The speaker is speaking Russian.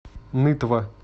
нытва